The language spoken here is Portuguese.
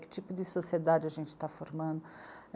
Que tipo de sociedade a gente está formando?